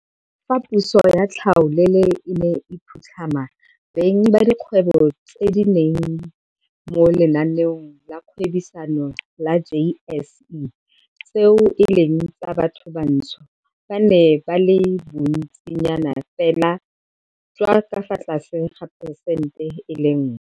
Fa puso ya tlhaolele e ne e phutlhama, beng ba dikgwebo tse di leng mo lenaaneng la go gwebisana la JSE tseo e leng tsa bathobantsho ba ne ba le bontsinyanafela jwa ka fa tlase ga phesente e le nngwe.